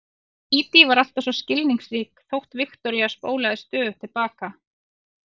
Dídí var alltaf svo skilningsrík þótt Viktoría spólaði stöðugt til baka.